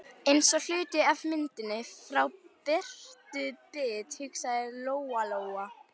Eins og hluti af myndinni frá Bertu bit, hugsaði Lóa-Lóa.